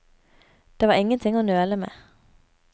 Det var ingenting å nøle med.